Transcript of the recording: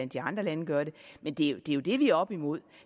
de andre lande gør det men det er jo det vi er oppe imod